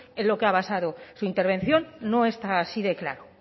en lo que ha basado su intervención no está así de claro